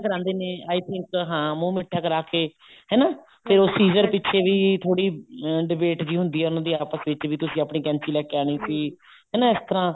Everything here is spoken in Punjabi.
ਕਰਾਂਦੇ ਨੇ i think ਹਾਂ ਮੂੰਹ ਮਿੱਠਾ ਕਰਾਕੇ ਹਨਾ ਤੇ seized ਪਿੱਛੇ ਵੀ ਥੋੜੀ debate ਜਿਹੀ ਹੁੰਦੀ ਹੈ ਉਹਨਾ ਦੀ ਆਪਸ ਵਿੱਚ ਵੀ ਤੁਸੀਂ ਆਪਣੀ ਕੈਂਚੀ ਲੈਕੇ ਆਉਣੀ ਸੀ ਹਨਾ ਇਸ ਤਰ੍ਹਾਂ